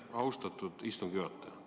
Aitäh, austatud istungi juhataja!